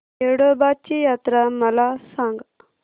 येडोबाची यात्रा मला सांग